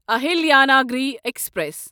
Ahilyanagari express